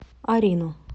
арину